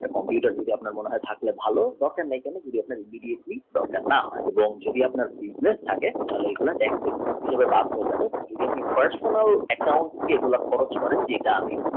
computer যদি না থাকলে দরকার নেই হলে immediately দরকার না হয় যদি আপনার business থাকে যদি personal account দিয়ে খরচ করেন